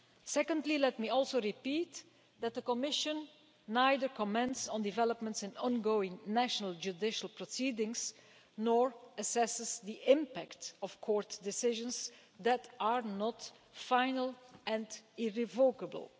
Secondly, let me repeat that the Commission neither comments on developments in ongoing national judicial proceedings nor assesses the impact of court decisions that are not final and irrevocable.